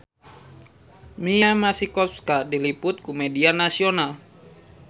Mia Masikowska diliput ku media nasional